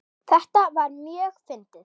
Þetta var mjög fyndið.